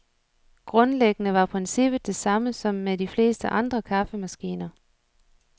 Grundlæggende var princippet det samme som med de fleste andre kaffemaskiner.